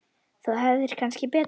Þú hefðir kannski betur